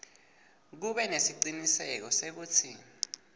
kube nesiciniseko sekutsi